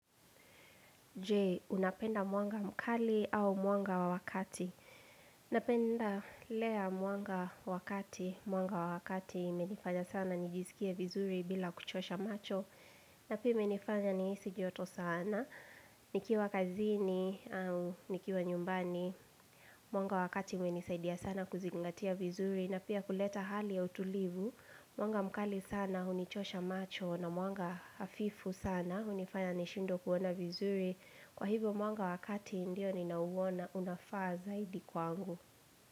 Je, unapenda mwanga mkali au mwanga wa kati. Napenda ile ya mwanga wa kati, mwanga wa kati hunifanya sana nijisikie vizuri bila kuchosha macho. Na pia imenifanya nihisi joto sana, nikiwa kazini au nikiwa nyumbani, mwanga wa kati umenisaidia sana kuzingatia vizuri. Na pia kuleta hali ya utulivu, mwanga mkali sana hunichosha macho na mwanga hafifu sana, hunifanya nishindwe kuona vizuri. Kwa hivyo mwanga wa kati ndio ninaouona unafaa zaidi kwangu.